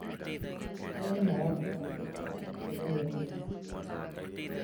Arĩmĩ marabatara kwĩrũta gũkonĩe kũĩga macĩaro